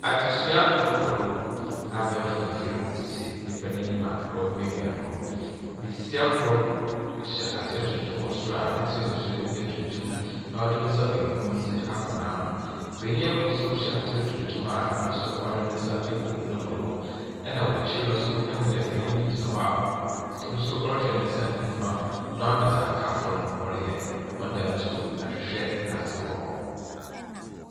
Adzesua rokɔ do, abaɛfor mfir si nyimpa n’enyim a ɔrohwɛ do, basia kor hyɛ atar tuntum wɔ sor a ne tsinhwi so yɛ tuntum na ɔdze ne nsa bankum akɔ n’ano. Banyin kor so hyɛ atar tuntum a no so ɔdze ne nsa egu no bo do, na wɔ ekyir no so ihu dɛ banyin bi gyina hɔ a no so ɔrohwɛ ne nsa nyimfa na ɔrohwɛ dza nkaafo no wɔreyɛ. Hɔn dan no so ahwehwɛ na adze wɔ hɔ.